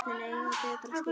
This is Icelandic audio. Börnin eiga betra skilið.